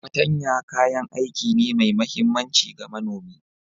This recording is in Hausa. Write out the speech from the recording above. Patanya kayan aiki ne mai mahimmanci ga manomi.